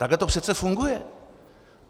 Takhle to přece funguje.